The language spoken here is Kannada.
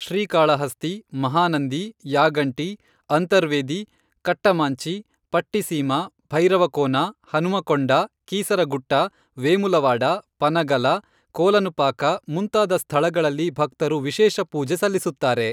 ಶ್ರೀಕಾಳಹಸ್ತಿ, ಮಹಾನಂದಿ, ಯಾಗಂಟಿ, ಅಂತರ್ವೇದಿ, ಕಟ್ಟಮಾಂಚಿ, ಪಟ್ಟಿಸೀಮಾ, ಭೈರವಕೋನ, ಹನುಮಕೊಂಡ, ಕೀಸರಗುಟ್ಟ, ವೇಮುಲವಾಡ, ಪನಗಲ, ಕೋಲನುಪಾಕ ಮುಂತಾದ ಸ್ಥಳಗಳಲ್ಲಿ ಭಕ್ತರು ವಿಶೇಷ ಪೂಜೆ ಸಲ್ಲಿಸುತ್ತಾರೆ.